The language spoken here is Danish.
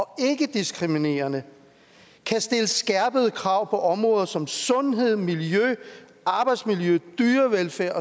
ikkediskriminerende kan stille skærpede krav på områder som sundhed miljø arbejdsmiljø dyrevelfærd